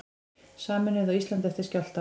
Sameinuð á Íslandi eftir skjálftann